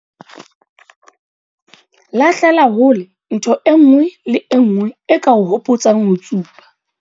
Lahlela hole ntho e nngwe le e nngwe e ka o hopotsang ho tsuba.